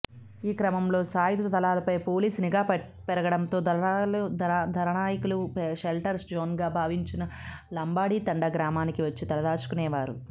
ఈక్రమంలో సాయుధ దళాలపై పోలీసు నిఘా పెరగడంతో దళనాయకులు షెల్టర్ జోన్గా భావించిన లంబాడితండా గ్రామానికి వచ్చి తలదాచుకునేవారు